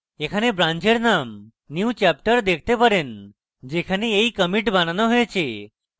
এখানে ব্রান্চের name newchapter দেখতে পারেন যেখানে এই commit বানানো হয়েছে